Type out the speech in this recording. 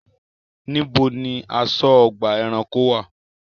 Níbo ni aṣọ́-ọgbà ẹranko wà?